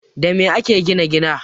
Da me ake gina gida?